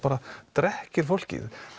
drekkir fólki